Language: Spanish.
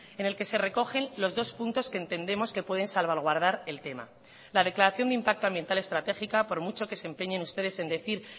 en el que se recogen los dos puntos que entendemos que pueden salvaguardar el tema la declaración de impacto ambiental estratégica por mucho que se empeñen ustedes en decir